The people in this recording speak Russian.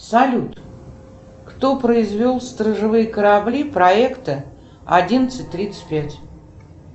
салют кто произвел сторожевые корабли проекта одиннадцать тридцать пять